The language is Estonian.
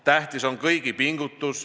Tähtis on kõigi pingutus.